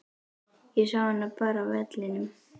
Ég sá hana bara á vellinum.